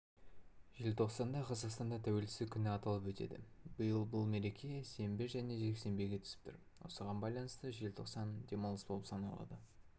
желтоқсанда қазақстанда тәуелсіздік күні аталып өтеді биыл бұл мереке сенбі және жексенбіге түсіп тұр осыған байланысты желтоқсан демалыс болып саналады